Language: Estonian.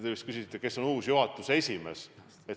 Te küsisite ka, kes on uus juhatuse esimees.